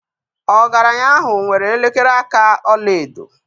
Ọgaranya ahụ nwere elekere aka ọla edo